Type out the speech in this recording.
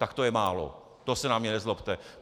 Tak to je málo, to se na mě nezlobte.